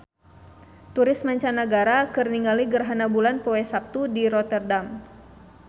Turis mancanagara keur ningali gerhana bulan poe Saptu di Rotterdam